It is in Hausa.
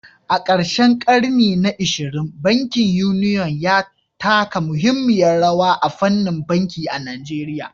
A karshen ƙarni na 20, bankin Union ya taka muhimmiyar rawa a fannin banki a Najeriya